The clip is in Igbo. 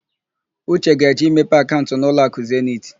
Uche ga-eje imepe akaụnt n'ụlọakụ Zeniti.